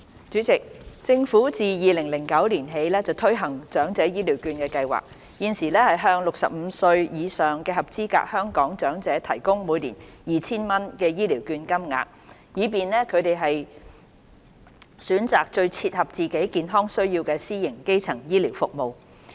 主席，政府自2009年起推行長者醫療券計劃，現時向65歲或以上的合資格香港長者提供每年 2,000 元醫療券金額，以便他們選擇最切合自己健康需要的私營基層醫療服務。